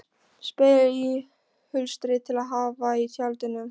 Spegill í hulstri til að hafa í tjaldinu.